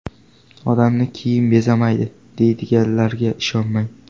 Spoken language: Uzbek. Odamni kiyim bezamaydi, deydiganlarga ishonmang.